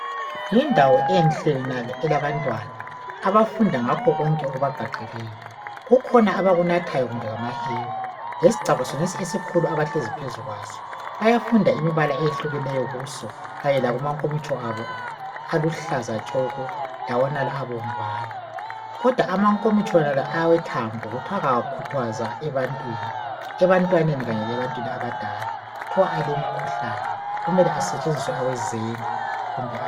Yindawo enhle yonale elabantwana. Abafunda ngakho konke okubagqagqeleyo. Kukhona abakunathayo, kumbe ngamahewu. Lesigcabha sonesi esikhulu abahlezi phezu kwaso. Bayafunda imibala eyehlukeneyo kuso. Kanye lakumankomitsho abo aluhlaza tshoko! Lawonala abomvana. Kodwa amakomitsho wonalo awethambo, kuthiwa kawakhuthazwa ebantwini. Ebantwaneni kanye lebantwini abadala. Kuthiwa alemikhuhlane, Kumele kusetshenziswe awezenge, kumbe awegilazi.